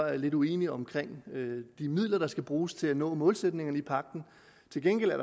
er lidt uenig omkring de midler der skal bruges til at nå målsætningerne i pagten til gengæld er